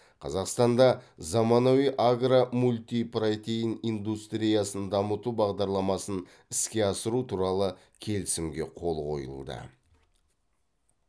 қазақстанда заманауи агро мультипротеин индустриясын дамыту бағдарламасын іске асыру туралы келісімге қол қойылды